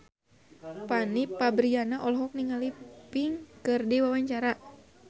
Fanny Fabriana olohok ningali Pink keur diwawancara